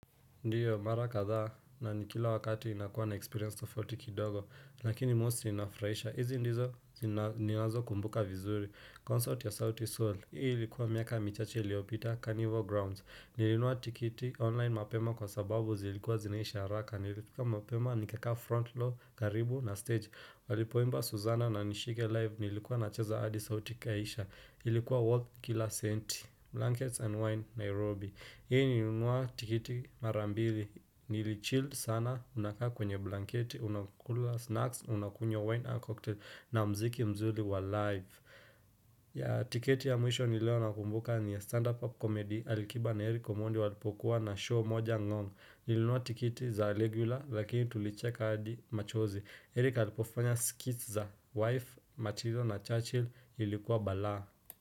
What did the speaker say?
Ndiyo mara kadhaa na ni kila wakati inakuwa na experience tofauti kidogo Lakini mostly, inafurahisha. Hizi ndizo ninazo kumbuka vizuri. Concert ya sauti Sol. Hii ilikuwa miaka michache iliopita Carnival Grounds. Nilinunua tikiti online mapema kwa sababu zilikuwa zinaisha haraka Nilifika mapema nikakaa front row, karibu na stage. Walipoimba Suzana na nishike live Nilikuwa nacheza adi sauti ikaisha. Ilikuwa worth kila senti. Blankets and Wine, Nairobi Hii nilinunua tikiti mara mbili, nili chill sana, unakaa kwenye blanketi, unakula snacks, unakunywa wine na cocktail na mziki mzuri wa live. Ya tikiti ya mwisho ni leo nakumbuka ni stand-up comedy, alikiba na Erico Omondi walipokuwa na show moja Ngong. Nilununua tikiti za regular lakini tulicheka hadi machozi. Eric alipofanya skits za wife, Matillo na Churchill ilikuwa balaa.